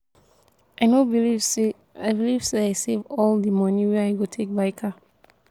i no believe say i believe say i save all the money wey i go take buy car